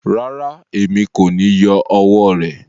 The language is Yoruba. Rárá, èmi ko ni yọ ọwọ rẹ.